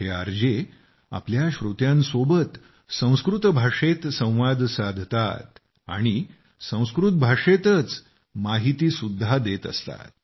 हे R J आपल्या श्रोत्यांसोबत संस्कृत भाषेत संवाद साधतात आणि संस्कृत भाषेतच माहिती सुद्धा देत असतात